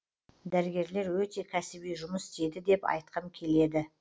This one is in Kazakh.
дәрігерлер өте кәсіби жұмыс істеді деп айтқым келеді